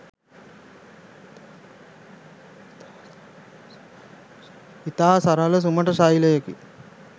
ඉතා සරල සුමට ශෛලයකින්